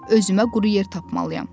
Özümə quru yer tapmalıyam.